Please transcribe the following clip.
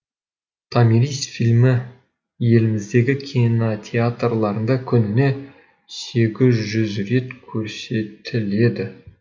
томирис фильмі еліміздегі кинотеатрларында күніне сегіз жүз рет көрсетіледі